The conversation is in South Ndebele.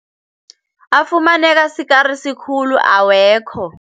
Afumaneka sikarisi khulu awekho.